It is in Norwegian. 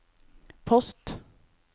post